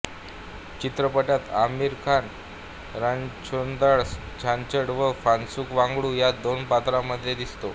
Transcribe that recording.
चित्रपटात आमिर खान रणछोडदास चाह्छ्ड व फुन्सुख वान्ग्डू या दोन पात्रा मध्ये दिसतो